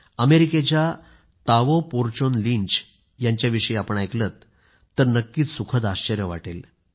अमेरिकेच्या Tao Porchon Lynch यांच्याविषयी आपण ऐकलंत तर नक्कीच सुखद आश्चर्य वाटेल